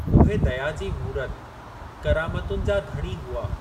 उहे दया जी मूरत, करामतुनि जा धणी हुआ।